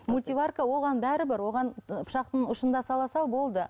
мультиварка оған бәрібір оған пышақтың ұшында сала сал болды